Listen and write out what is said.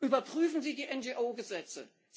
Überprüfen Sie die NGO Gesetze!